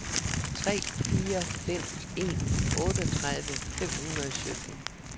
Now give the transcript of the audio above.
tre fire fem en otteogtredive fem hundrede og sytten